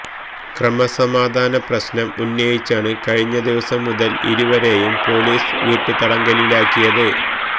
ക്രമസമാധാന പ്രശ്നം ഉന്നയിച്ചാണ് കഴിഞ്ഞ ദിവസം മുതൽ ഇരുവരെയും പൊലീസ് വീട്ടുതടങ്കലിലാക്കിയത്